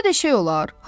Belə də şey olar?